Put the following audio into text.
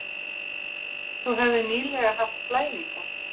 Þú hefðir nýlega haft blæðingar.